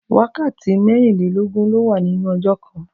Wákàtí mèrinlélógún ló wà ninú òjò kàn